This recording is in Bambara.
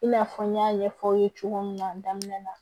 I n'a fɔ n y'a ɲɛfɔ aw ye cogo min na daminɛ na